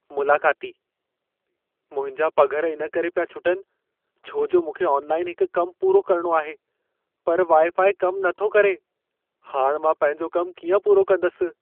मुलाक़ातीः "मुंहिंजा पघर इन करे पिया छुटनि, छो जो मूंखे ऑनलाइन हिकु कम पूरो करणो आहे, पर वाइ-फाइ कम नथो करे। हाणि मां पंहिंजो कमु कीअं पूरो कंदसि।